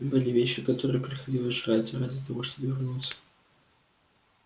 были вещи которые приходилось жрать ради того чтобы вернуться